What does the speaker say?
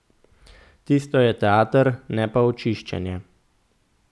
Tisto je teater, ne pa očiščenje.